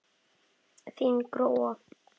Þín Gróa.